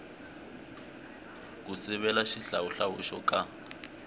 ku sivela xihlawuhlawu xo ka